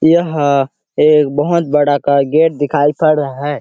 यह एक बहोत बड़ा का गेट दिखाई पड़ रहा है।